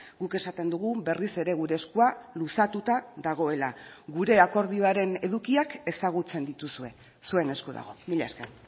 guk esaten dugu berriz ere gure eskua luzatuta dagoela gure akordioaren edukiak ezagutzen dituzue zuen esku dago mila esker